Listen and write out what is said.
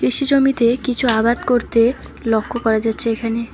কৃষি জমিতে কিছু আবাদ করতে লক্ষ্য করা যাচ্ছে এখানে।